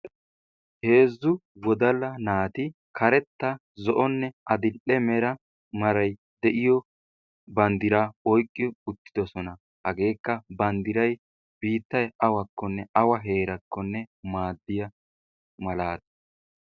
Heezzu wodala naati karetta, zo'onne addl''e meray de'iyo banddira oyqqi uttidoosona, hagekka banddiray biittay awakkonne awa heerakkonne maaddiya maalata.